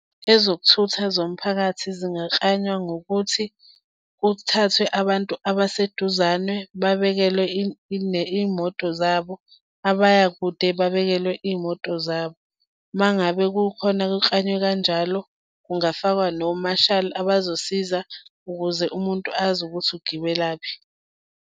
Ezokuthutha zomphakathi zingaklanywa ngokuthi kuthathwe abantu abaseduzane babekelwe iy'moto zabo, abaya kude babekelwe iy'moto zabo. Uma ngabe kukhona ukuklanywa kanjalo kungafakwa nomashali abazosiza ukuze umuntu azi ukuthi ugibelaphi.